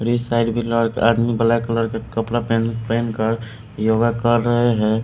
इस साइड आदमी black colour का कपड़ा पहन कर योगा कर रहे हैं।